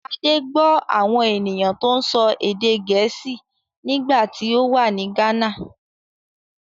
Adé gbọ́ àwọn ènìyàn tó ń sọ èdè Gèésì nígbà tí ó wà ní Ghana.